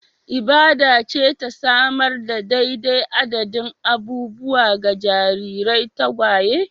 Ibada ce ta samar da daidai adadin abubuwa ga jarirai tagwaye